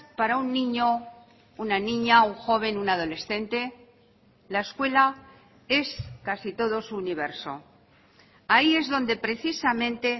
para un niño una niña un joven un adolescente la escuela es casi todo su universo ahí es donde precisamente